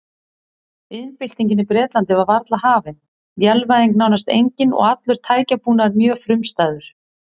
Iðnbyltingin í Bretlandi var varla hafin, vélvæðing nánast engin og allur tækjabúnaður mjög frumstæður.